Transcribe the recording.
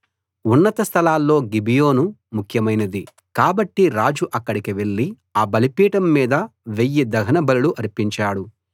ఉన్నత స్థలాల్లో గిబియోను ముఖ్యమైనది కాబట్టి రాజు అక్కడికి వెళ్ళి ఆ బలిపీఠం మీద వెయ్యి దహనబలులు అర్పించాడు